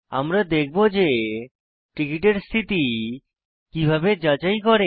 আমরা দেখব যে টিকিটের স্থিতি কিভাবে যাচাই করে